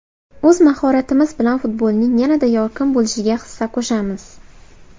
O‘z mahoratimiz bilan futbolning yanada yorqin bo‘lishiga hissa qo‘shamiz.